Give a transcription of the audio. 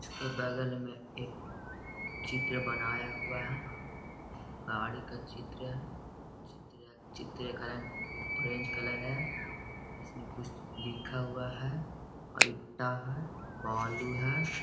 इसके बगल में एक चित्र बनाया हुआ है। गाड़ी का चित्र है। चित्र चित्रे का रंग ऑरेंज कलर है। इसमें कुछ लिखा हुआ है और ईटा है बालू है। .